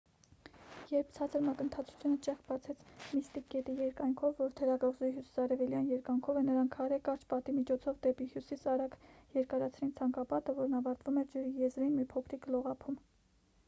երբ ցածր մակընթացությունը ճեղք բացեց միստիկ գետի երկայնքով որ թերակղզու հյուսիսարևելյան երկայնքով է նրանք քարե կարճ պատի միջոցով դեպի հյուսիս արագ երկարացրին ցանկապատը որն ավարտվում էր ջրի եզրին մի փոքրիկ լողափում